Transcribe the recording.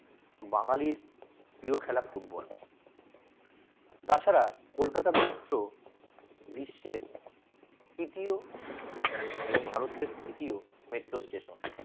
বাঙালির প্রিয় খেলা ফুটবল তাছাড়া কলকাতা metro বিশ্বের তৃতীয় এবং ভারতের তৃতীয় metro station